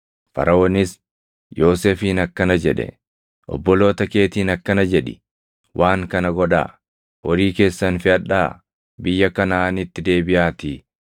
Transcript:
Faraʼoonis Yoosefiin akkana jedhe; “Obboloota keetiin akkana jedhi; ‘Waan kana godhaa: Horii keessan feʼadhaa biyya Kanaʼaaniitti deebiʼaatii